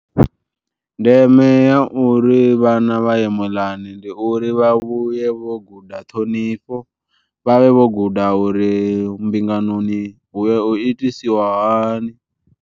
Ndeme ya uri vhana vhaye muḽani ndi uri vha vhuye vho guda ṱhonifho, vhavhe vho guda uri mbinganoni hu ya u itisiwa hani.